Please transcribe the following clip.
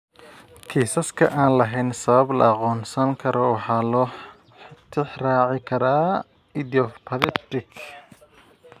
Kiisaska aan lahayn sabab la aqoonsan karo waxaa loo tixraaci karaa "idiopathic" PAH.